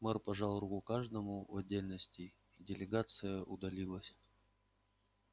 мэр пожал руку каждому в отдельности и делегация удалилась